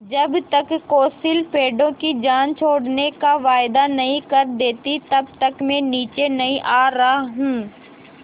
जब तक कौंसिल पेड़ों की जान छोड़ने का वायदा नहीं कर देती तब तक मैं नीचे नहीं आ रहा हूँ